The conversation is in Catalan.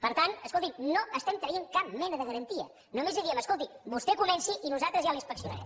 per tant escolti’m no estem traient cap mena de garantia només li diem escolti vostè comenci i nosaltres ja l’inspeccionarem